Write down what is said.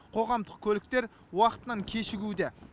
қоғамдық көліктер уақытынан кешігуде